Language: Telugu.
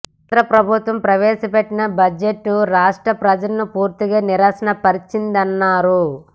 కేంద్ర ప్రభుత్వం ప్రవేశపెట్టిన బడ్జెట్ రాష్ట్ర ప్రజలను పూర్తిగా నిరాశ పరచిందన్నారు